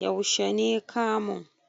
Yaushe ne kamun?